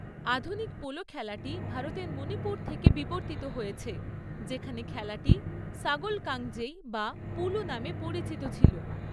আধুনিক পোলো খেলাটি ভারতের মণিপুর থেকে বিবর্তিত হয়েছে, যেখানে খেলাটি 'সাগোল কাংজেই' বা 'পুলু' নামে পরিচিত ছিল।